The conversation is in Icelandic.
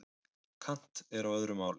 Kant er á öðru máli.